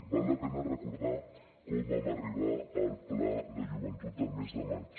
val la pena recordar com vam arribar al pla de joventut del mes de maig